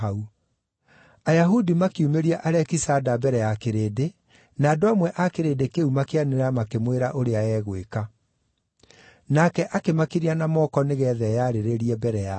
Ayahudi makiumĩria Alekisanda mbere ya kĩrĩndĩ, na andũ amwe a kĩrĩndĩ kĩu makĩanĩrĩra makĩmwĩra ũrĩa egwĩka. Nake akĩmakiria na moko nĩgeetha eyarĩrĩrie mbere yao.